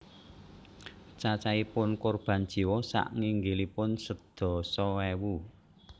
Cacaipun korban jiwa saknginggilipun sedasa ewu